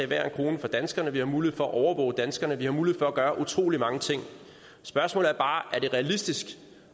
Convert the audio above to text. hver en krone fra danskerne vi har mulighed for at overvåge danskerne vi har mulighed for at gøre utrolig mange ting spørgsmålet er bare er det realistisk